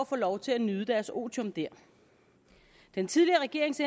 få lov til at nyde deres otium der den tidligere regerings